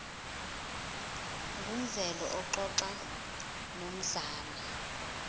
ngumveli uxoxa nomzala